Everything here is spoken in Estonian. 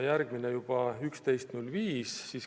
Järgmised istungid olid 11.05.